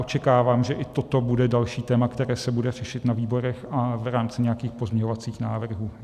Očekávám, že i toto bude další téma, které se bude řešit na výborech a v rámci nějakých pozměňovacích návrhů.